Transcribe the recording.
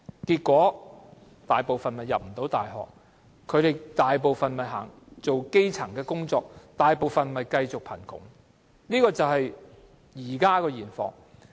結果，大部分學生未能入讀大學，只能從事基層工作，大部分人繼續貧窮，現況就是這樣。